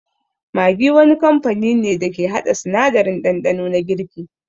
Maggi wani kamfani ne dake haɗa sanadarin ɗanɗano na girki